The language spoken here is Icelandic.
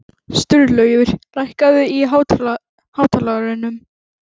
Sturlaugur, lækkaðu í hátalaranum.